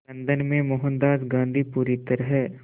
London में मोहनदास गांधी पूरी तरह